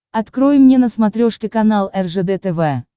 открой мне на смотрешке канал ржд тв